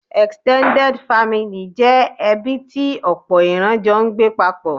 Extended family' jẹ́ ẹbí tí òpò ìran jọ n gbé paapò